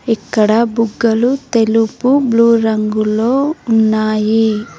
ఇక్కడ బుగ్గలు తెలుపు బ్లూ రంగులో ఉన్నాయి.